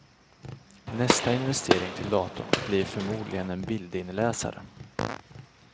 Nästa investering till datorn bli förmodligen en bildinläsare.